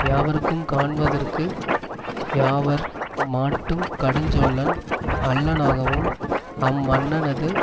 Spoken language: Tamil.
யாவர்க்கும் காணுவதற்கு யாவர் மாட்டும் கடுஞ்சொல்லன் அல்லனாகவும் அம்மன்னனது